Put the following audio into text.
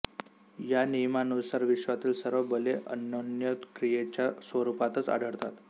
या नियमानुसार विश्वातील सर्व बले अन्योन्यक्रियेच्या स्वरूपातच आढळतात